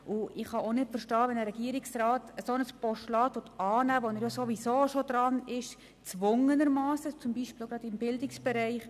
Ich kann es auch nicht verstehen, wenn ein Regierungsrat ein Postulat annehmen will, das er sowieso schon erfüllt – gezwungenermassen, beispielsweise auch gerade im Bildungsbereich.